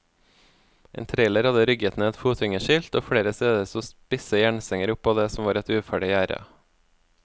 En trailer hadde rygget ned et fotgjengerskilt, og flere steder sto spisse jernstenger opp av det som var et uferdig gjerde.